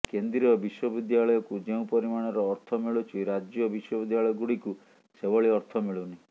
କେନ୍ଦ୍ରୀୟ ବିଶ୍ବବିଦ୍ୟାଳୟକୁ ଯେଉଁ ପରିମାଣର ଅର୍ଥ ମିଳୁଛି ରାଜ୍ୟ ବିଶ୍ବବିଦ୍ୟାଳୟଗୁଡ଼ିକୁ ସେଭଳି ଅର୍ଥ ମିଳୁନି